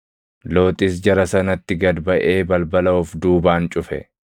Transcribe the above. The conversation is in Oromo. Looxis jara sanatti gad baʼee balbala of duubaan cufe;